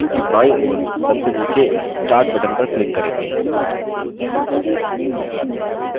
इसके लिए हम screen की बायीं ओर सबसे नीचे start button पर click करेंगे